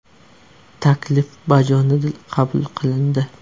Taklif bajonidil qabul qilindi.